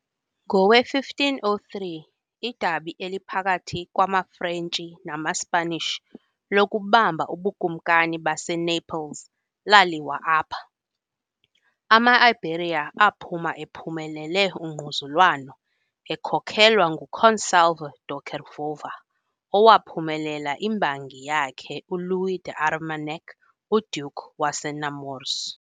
Ngowe- 1503 idabi eliphakathi kwamaFrentshi namaSpanish lokubamba uBukumkani baseNaples laliwa apha, ama-Iberia aphuma ephumelele ungquzulwano, ekhokelwa nguConsalvo da Cordova, owaphumelela imbangi yakhe uLouis d'Armagnac, uDuke waseNemours .